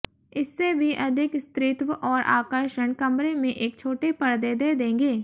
इससे भी अधिक स्त्रीत्व और आकर्षण कमरे में एक छोटे परदे दे देंगे